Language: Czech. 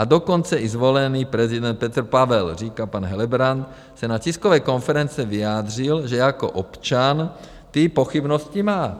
A dokonce i zvolený prezident Petr Pavel, říká pan Helebrant, se na tiskové konferenci vyjádřil, že jako občan ty pochybnosti má.